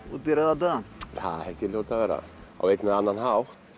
út í rauðan dauðann það held ég að hljóti að vera á einn eða annan hátt